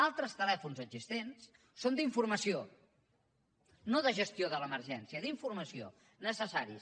altres telèfons existents són d’informació no de gestió de l’emergència d’informació necessaris